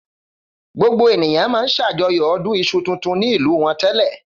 Gbogbo ènìyàn máa ń ṣàjọyọ̀ ọdún iṣu tuntun ni ìlú wọn tẹ́lẹ̀.